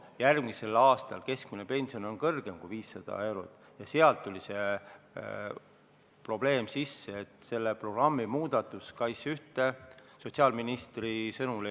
Järgmisel aastal on keskmine pension suurem kui 500 eurot ja sealt tuli see probleem, et programmi muudatust ei ole SKAIS1-s sotsiaalministri sõnul võimalik teha.